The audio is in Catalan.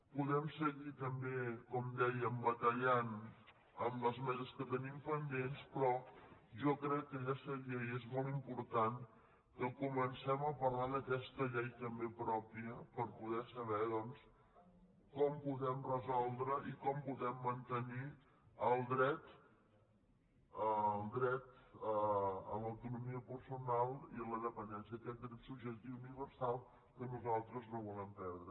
podem seguir també com dèiem batallant en les meses que tenim pendents però jo crec que ja seria i és molt important que comencem a parlar d’aquesta llei també pròpia per poder saber doncs com podem resoldre i com podem mantenir el dret a l’autonomia personal i a la dependència aquest dret subjectiu universal que nosaltres no volem perdre